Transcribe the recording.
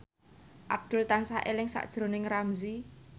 Abdul tansah eling sakjroning Ramzy